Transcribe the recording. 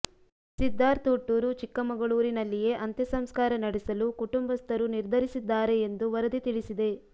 ಸಿದ್ದಾರ್ಥ ಹುಟ್ಟೂರು ಚಿಕ್ಕಮಗಳೂರಿನಲ್ಲಿಯೇ ಅಂತ್ಯಸಂಸ್ಕಾರ ನಡೆಸಲು ಕುಟುಂಬಸ್ಥರು ನಿರ್ಧರಿಸಿದ್ದಾರೆ ಎಂದು ವರದಿ ತಿಳಿಸಿದೆ